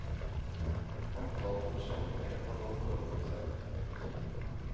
Antall forsamlinger har nå fordoblet seg. punktum